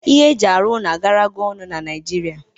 Ihe eji arụ ụlọ agarago ọnụ na Naịjirịa